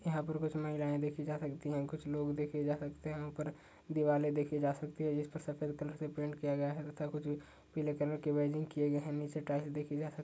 यहाँ पर कुछ महिलाएं देखी जा सकती हैं। कुछ लोग देखे जा सकते हैं। यहाँ उपर दीवाले देखी जा सकती हैं जिस पर सफेद कलर से पेंट किया गया है तथा कुछ पिले कलर के वेजिन्ग किये गए हैं। नीचे टाईल्स देखी जा सक --